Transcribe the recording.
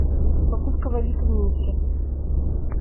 покупка валюты в минске